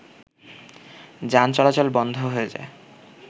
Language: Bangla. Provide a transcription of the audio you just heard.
যান চলাচল বন্ধ হয়ে যায়